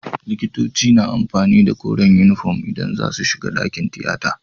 Likitoci na amfani da koren inufom idan zasu shiga dakin tiyata